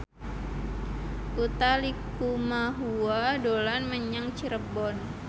Utha Likumahua dolan menyang Cirebon